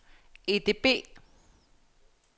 EDB